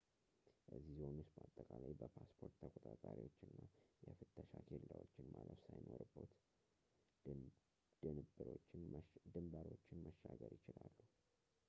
እዚ ዞን ውስጥ በአጠቃላይ በፓስፖርት ተቆጣጣሪዎች እና የፍተሻ ኬላዎችን ማለፍ ሳይኖርቦት ድንብሮችን መሻገር ይችላሉ